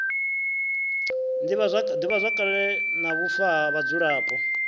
divhazwakale na vhufa ha vhadzulapo